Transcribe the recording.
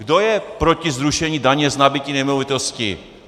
Kdo je proti zrušení daně z nabytí nemovitostí?